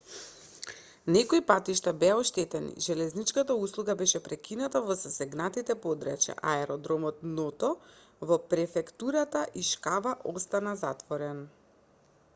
некои патишта беа оштетени железничката услуга беше прекината во засегнатите подрачја а аеродромот ното во префектурата ишикава остана затворен